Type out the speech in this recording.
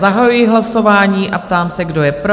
Zahajuji hlasování a ptám se, kdo je pro?